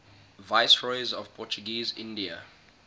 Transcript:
viceroys of portuguese india